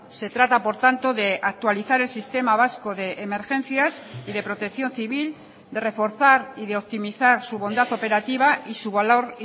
se trata por tanto de actualizar el sistema vasco de emergencias y de protección civil de reforzar y de optimizar su bondad operativa y su valor